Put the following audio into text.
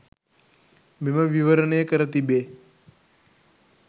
මෙම විවරණය කර තිබේ.